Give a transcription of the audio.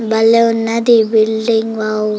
బలే ఉన్నది ఈ బిల్డింగ్ వావ్ --